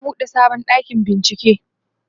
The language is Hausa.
za'a buɗe sabon ɗakin bincike